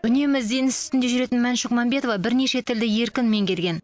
үнемі ізденіс үстінде жүретін мәншүк мәмбетова бірнеше тілді еркін меңгерген